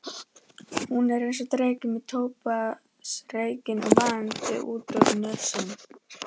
Hún er einsog dreki með tóbaksreykinn vaðandi út úr nösunum.